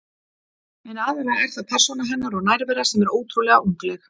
En aðallega er það persóna hennar og nærvera sem er ótrúlega ungleg.